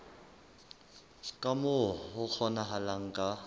ka moo ho kgonahalang ka